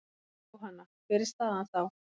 Jóhanna: Hver er staðan þá?